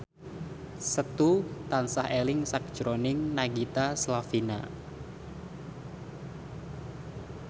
Setu tansah eling sakjroning Nagita Slavina